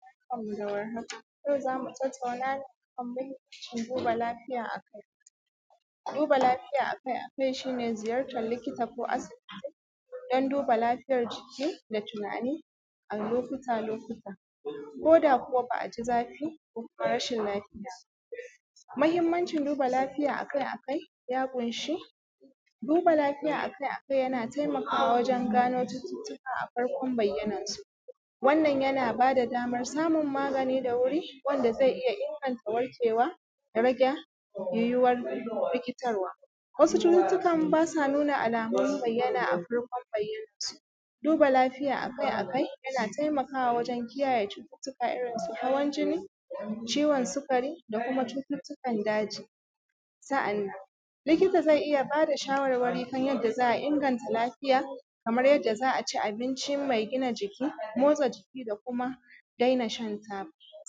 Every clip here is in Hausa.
Barkanmu da warhaka, yau zamu tattauna ne kan mahimmanci duba lafiya akai-akai. Duba lafiya akai-akai shi ne ziyartar likita ko asibiti don duba lafiyar jiki da tunani a lokuta-lokuta, ko da kuwa ba a ji zafi ba ko kuma rashin lafiya .Mahimmancin duba lafiya akai-akai ya ƙunshi, duba lafiya akai-akai yana taimakawa wajen gano cututuka a farkon bayyanansu, wannan yana bada damar samun magani da wuri wanda zai iya inganta warkewa, da rage yiwuwar rikitarwa. Wasu cututukan basa nuna alamun bayyana a farkon baiya nan su. Duba lafiya akai-akai yana taikawa wajen kiyayye cututuka irin su hawan jini, ciwon sukari da kuma cututukan daji. Sa’annan likita zai iya bada shawarwari kan yanda za a inganta lafiya, kamar yadda za a ci abincin mai gina jiki, motsa jiki da kuma daina shan ta,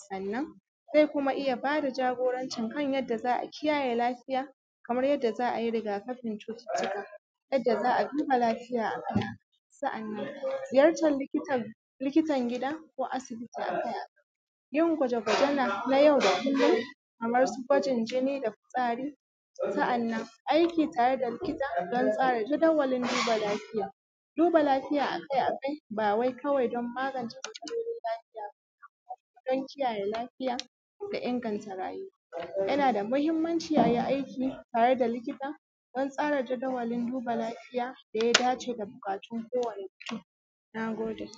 sannan zai kuma iya bada jagorancin kan yadda za a kiyayye lafiya, kamar yadda za a yi rigakafin cututuka, yadda za a duba lafiya akan. Sa’annan ziyartar likita, likitan gida ko asibiti akai-akai. Yin gwaje-gwaje na yau da kullum kamar su gwajin jini da fitsari. Sa’annan aiki tare da likita don tsara jawadawalin duba lafiya. Duba lafiya akai-akai ba wai kawai don magance lafiya bane, don kiyayye lafiya da inganta rayuwa. Yana da mahimmanci ayi aiki tare da likita don tsara jadawalin duba lafiya daya dace da bukatun kowani mutum. Na gode.